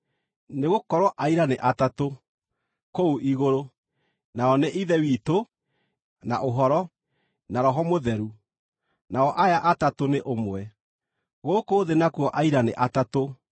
Nĩgũkorwo aira nĩ atatũ (kũu igũrũ: nao nĩ Ithe witũ, na Ũhoro, na Roho Mũtheru; nao aya atatũ nĩ ũmwe. Gũkũ thĩ nakuo aira nĩ atatũ):